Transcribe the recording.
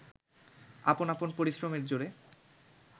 আপন আপন পরিশ্রমের জোরে